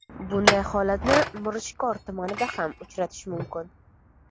Bunday holatni Mirishkor tumanida ham uchratish mumkin.